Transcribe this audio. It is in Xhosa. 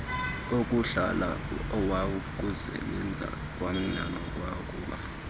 okuhlala awokusebenza kwanawokuba